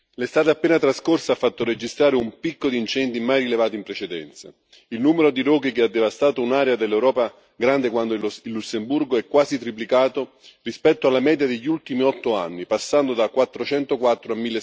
l'estate appena trascorsa ha fatto registrare un picco di incendi mai rilevato in precedenza il numero di roghi che ha devastato un'area dell'Europa grande quando il Lussemburgo è quasi triplicato rispetto alla media degli ultimi otto anni, passando da 404